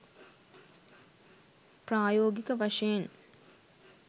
ප්‍රායෝගික වශයෙන්